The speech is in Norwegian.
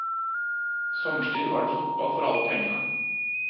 Sommerstid var det fotball for alle pengene.